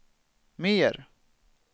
mer